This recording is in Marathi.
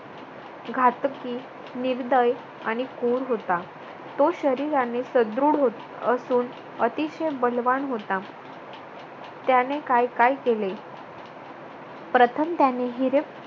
घातकी, निर्दय आणि क्रूर होता. तो शरीराने सदृढ होत असून अतिशय बलवान होता त्याने काय काय केले प्रथम त्याने हिरे